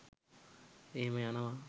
එහෙම යනව